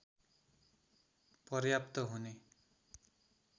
पर्याप्त हुने